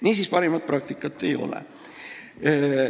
Niisiis, parimat praktikat ei ole.